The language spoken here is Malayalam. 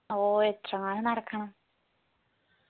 ഓ എത്രവാട് നടക്കണം